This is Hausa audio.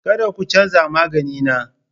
Kada ku canza magani na!